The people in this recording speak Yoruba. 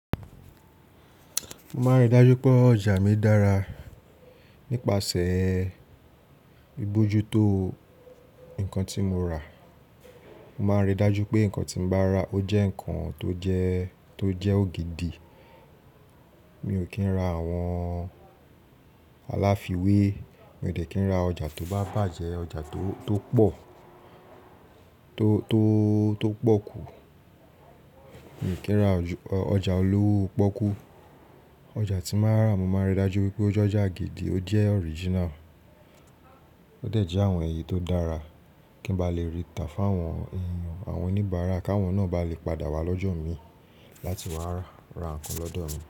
Mo máa ń rí dájú pé ọjà mi dára nípasẹ̀ bìbójútó ńkan tí mo rà. Mo máa ń rí dájú pé ńkan tí mo bá rà ó jẹ́ ńkan tó jẹ́, tó jẹ́ ògidì. Mi ò kí ń ra àwọn aláfíwé, mi ò dẹ́kì ń ra ọjà tó bá bàjẹ́, ọjà tó, tó pọ̀, tó, tó, tó pọ̀ kú, mi ò kí ń ra ọjà olówó pọ́kú. Ọjà tí màá rà mo máa rí dájú pé ó jẹ́ ọjà gidí, ó jẹ́ original. Ó dẹ̀ jẹ́ àwọn èyí tó dára kí n bá lè rí ìtàfẹ́ àwọn èèyàn, àwọn oníbàárà káwọn náà bá lè padà wá lọ́jọ́ mi láti wá rà, ra ńkan lọ́dọ̀ mi.